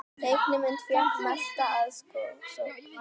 Teiknimynd fékk mesta aðsókn